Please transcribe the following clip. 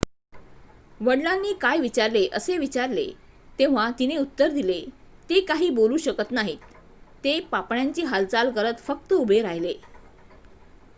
"वडिलांनी काय विचारले असे विचारले तेव्हा तिने उत्तर दिले "ते काही बोलू शकत नाहीत - ते पापण्यांची हालचाल करत फक्त उभे राहिले.""